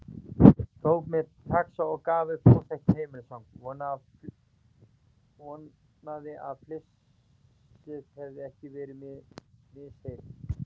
Tók mér taxa og gaf upp óþekkt heimilisfang, vonaði að flissið hefði ekki verið misheyrn.